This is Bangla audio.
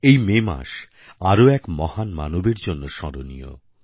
এই মে মাস আরও এক মহান মানবের জন্য স্মরণীয়